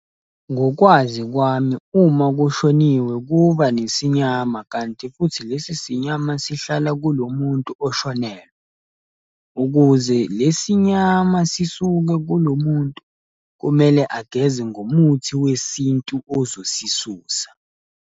Ngokwazi kwami uma kushoniwe kuba nesinyama, kanti futhi lesi sinyama sihlala kulo muntu oshonelwe. Ukuze lesi nyama sisuke kulo muntu kumele ageze ngomuthi wesintu ozosisusa.